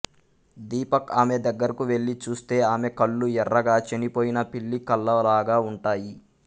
దీపక్ ఆమె దగ్గరకు వెళ్ళి చూస్తే ఆమె కళ్ళు ఎర్రగా చనిపోయిన పిల్లి కళ్ళ లాగా ఉంటాయి